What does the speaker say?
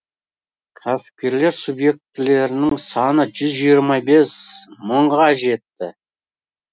кәсіпкерлер субъектілерінің саны жүз жиырма бес мыңға жетті